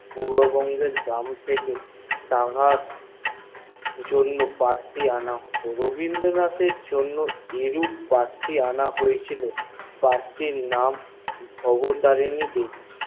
পূর্ব বঙ্গের জমশেদ থেকে তাহার জন্যে পাত্রী অন হয়েছিল তাহার নাম ভবতারিণী দেবী